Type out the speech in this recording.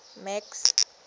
max